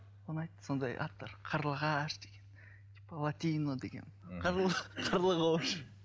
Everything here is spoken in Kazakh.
ұнайды сондай аттар қарлығаш деген типа латино деген